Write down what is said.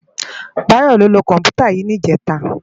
Bayo ló lö kòmpútá yi nijètá